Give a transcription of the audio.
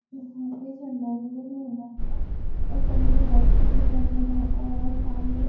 यहाँ पे झंडा वंदन हो रहा है और सभी ने वाइट कपड़े पहने हैं और सामने --